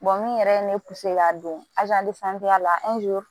min yɛrɛ ye ne ka don la